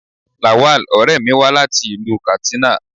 Lawal, ọ̀rẹ́ mi wá láti ìlú Katsina.